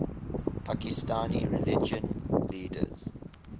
pakistani religious leaders